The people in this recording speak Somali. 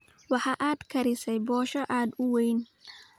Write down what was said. Waxaad karisay boshoo aad u weyn.